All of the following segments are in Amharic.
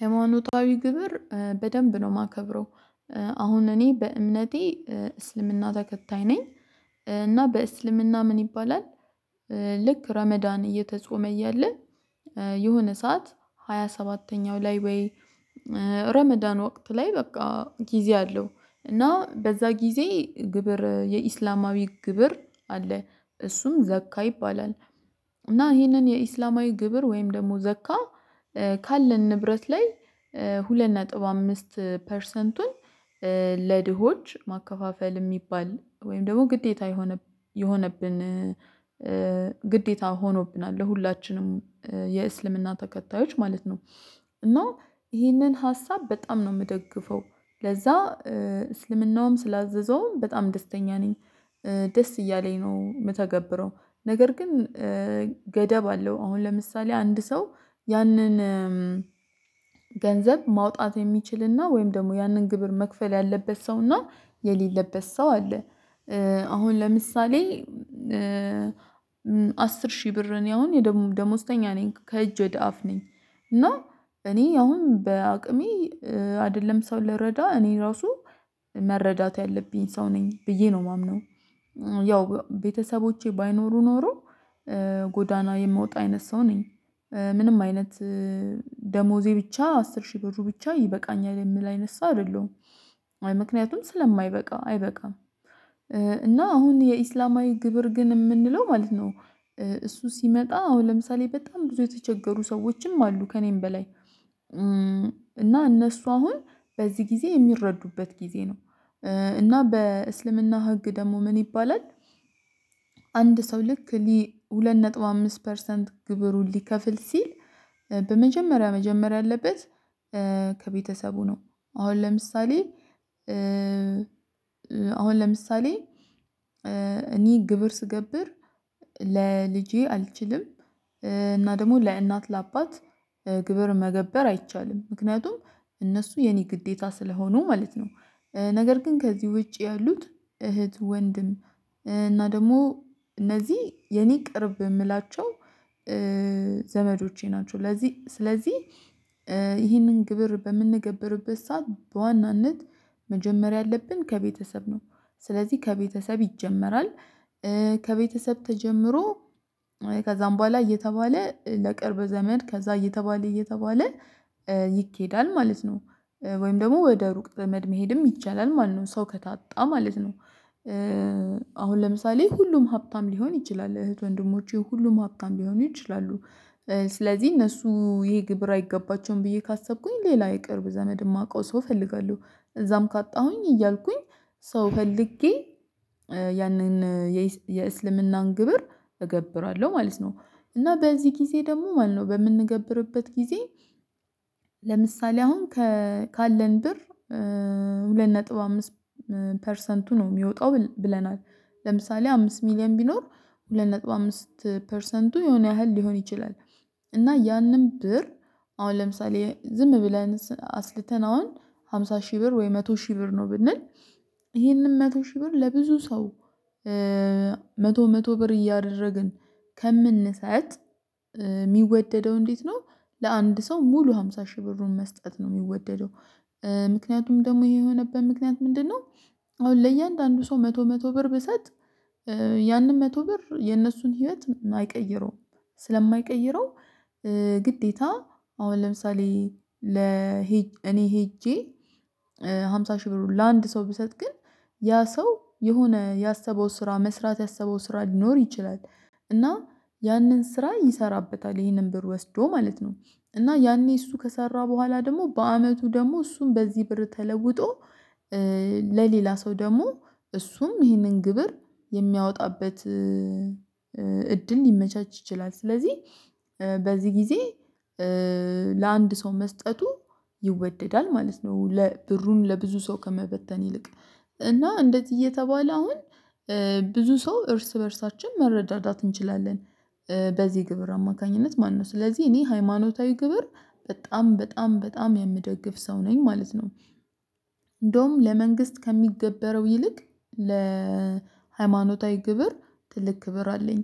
ሃይማኖታዊ ግብር በደንብ ነው የማከብረው። አሁን እኔ በእምነቴ እስልምና ተከታይ ነኝ። እና በእስልምና ምን ይባላል? ልክ ረመዳን እየተጾመ እያለ። የሆነ ሰዓት ሃያ ሰባተኛው ላይ ወይ? ረመዳን ወቅት ላይ በቃ ጊዜ አለው እና በዛ ጊዜ ግብር የእስላማዊ ግብር አለ እሱም ዘካ ይባላል። እና ይሄንን የኢስላማዊ ግብር ወይም ደግሞ ዘካ። ካለን ንብረት ላይ። ሁለት ነጥብ አምስት ፐርሰንቱን። ለድሆች ማከፋፈል የሚባል ወይም ደግሞ ግዴታ የሆነ የሆነብን ግዴታ ሆኖብናል ለሁላችንም የእስልምና ተከታዮች ማለት ነው። እና ይህንን ሀሳብ በጣም ነው ምደግፈው። ለዛ እስልምናውም ስላዘዘውም በጣም ደስተኛ ነኝ። ደስ እያለኝ ነው ምተገብረው። ነገር ግን ገደብ አለው። አሁን ለምሳሌ አንድ ሰው ያንን ገንዘብ ማውጣት የሚችልና ወይም ደግሞ ያንን ግብር መክፈል ያለበት ሰውና የሌለበት ሰው አለ። አሁን ለምሳሌ አስር ሺህ ብር እኔ አሁን ደሞዝተኛ ነኝ ከእጅ ወደ አፍ ነኝ። እና እኔ አሁን በአቅሜ አይደለም ሰው ልረዳ እኔ ራሱ መረዳት ያለብኝ ሰው ነኝ ብዬ ነው የማምነው። ያው ቤተሰቦቼ ባይኖሩ ኖሮ ጎዳና የምወጣ አይነት ሰው ነኝ። ምንም አይነት ደሞዜ ብቻ አስር ሺህ ብሩ ብቻ ይበቃኛል የምል አይነት ሰው አይደለሁም። አይ ምክንያቱም ስለማይበቃ አይበቃም። እና አሁን የእስላማዊ ግብር ግን የምንለው ማለት ነው። እሱ ሲመጣ አዎ ለምሳሌ በጣም ብዙ የተቸገሩ ሰዎችም አሉ ከእኔም በላይ። እና እነሱ አሁን በዚህ ጊዜ የሚረዱበት ጊዜ ነው። እና በእስልምና ህግ ደግሞ ምን ይባላል? አንድ ሰው ልክ ሊ ሁለት ነጥብ አምስት ፐርሰንት ግብሩን ሊከፍል ሲል በመጀመሪያ መጀመሪያ ያለበት ከቤተሰቡ ነው። አሁን ለምሳሌ አሁን ለምሳሌ እኔ ግብር ስገብር ለልጄ አልችልም። እና ደግሞ ለእናት ለአባት ግብር መገበር አይቻልም ምክንያቱም እነሱ የኔ ግዴታ ስለሆኑ ማለት ነው። ነገር ግን ከዚህ ውጪ ያሉት እህት ወንድም እና ደግሞ እነዚህ የኔ ቅርብ የምላቸው ዘመዶቼ ናቸው። ለዚህ ስለዚህ ይህንን ግብር በምንገበርበት ሰዓት በዋናነት መጀመር ያለብን ከቤተሰብ ነው። ስለዚህ ከቤተሰብ ይጀመራል። ከቤተሰብ ተጀምሮ ከዛም በኋላ እየተባለ ለቅርብ ዘመድ ከዛ እየተባለ እየተባለ ይኬዳል ማለት ነው። ወይም ደግሞ ወደ ሩቅ ዘመድ መሄድም ይቻላል ማለት ነው። ሰው ከታጣ ማለት ነው። አሁን ለምሳሌ ሁሉም ሀብታም ሊሆን ይችላል እህት ወንድሞቼ ሁሉም ሀብታም ሊሆኑ ይችላሉ። ስለዚህ እነሱ ይሄ ግብር አይገባቸውም ብዬ ካሰብኩኝ ሌላ የቅርብ ዘመድ የማውቀው ሰው እፈልጋለሁ። እዛም ካጣሁኝ እያልኩኝ ሰው ፈልጌ ያንን የእስልምናን ግብር እገብራለሁ ማለት ነው። እና በዚህ ጊዜ ደግሞ ማለት ነው በምንገብርበት ጊዜ። ለምሳሌ አሁን ካለን ብር ሁለት ነጥብ አምስት ፐርሰንቱ ነው የሚወጣው ብለናል። ለምሳሌ አምስት ሚሊየን ቢኖር ሁለት ነጥብ አምስት ፐርሰንቱ የሆነ ያህል ሊሆን ይችላል። እና ያንን ብር አሁን ለምሳሌ ዝም ብለን አስልተን አሁን አምሳ ሺህ ብር ወይ መቶ ሺህ ብር ነው ብንል። ይሄንን መቶ ሺህ ብር ለብዙ ሰው። መቶ መቶ ብር እያደረግን ከምንሰጥ ሚወደደው እንዴት ነው? ለአንድ ሰው ሙሉ አምሳ ሺህ ብሩን መስጠት ነው የሚወደደው። ምክንያቱም ደግሞ ይሄ የሆነበት ምክንያት ምንድነው? አሁን ለእያንዳንዱ ሰው መቶ መቶ ብር ብሰጥ ያንን መቶ ብር የነሱን ህይወት አይቀይረውም። ስለማይቀይረው ግዴታ አሁን ለምሳሌ ለ እኔ ሄጄ አምሳ ሺህ ብሩን ለአንድ ሰው ብሰጥ ግን ያ ሰው የሆነ ያሰበው ስራ መስራት ያሰበው ስራ ሊኖር ይችላል። እና ያንን ስራ ይሰራበታል ይህንን ብር ወስዶ ማለት ነው። እና ያኔ እሱ ከሰራ በኋላ ደግሞ በዓመቱ ደግሞ እሱም በዚህ ብር ተለውጦ ለሌላ ሰው ደግሞ እሱም ይህንን ግብር የሚያወጣበት እድል ሊመቻች ይችላል። ስለዚህ በዚህ ጊዜ ለአንድ ሰው መስጠቱ ይወደዳል ማለት ነው። ብሩን ለብዙ ሰው ከመበተን ይልቅ እና እንደዚህ እየተባለ አሁን ብዙ ሰው እርስ በእርሳችን መረዳዳት እንችላለን። በዚህ ግብር አማካኝነት ማለት ነው ስለዚህ እኔ ሃይማኖታዊ ግብር በጣም በጣም በጣም የምደግፍ ሰው ነኝ ማለት ነው። እንደውም ለመንግስት ከሚገበረው ይልቅ ለሃይማኖታዊ ግብር ትልቅ ክብር አለኝ።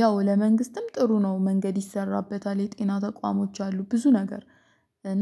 ያው ለመንግስትም ጥሩ ነው መንገድ ይሰራበታል የጤና ተቋሞች አሉ ብዙ ነገር እና